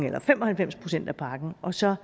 eller fem og halvfems procent af pakken og så